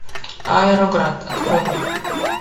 аэроград открой мне